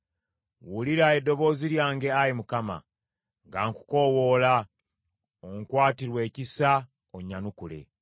Wulira eddoboozi lyange, Ayi Mukama , nga nkukoowoola; onkwatirwe ekisa onnyanukule!